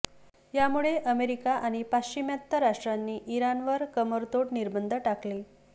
यामुळे अमेरिका आणि पाश्चिमात्य राष्ट्रांनी इराणवर कंबरतोड निर्बंध टाकले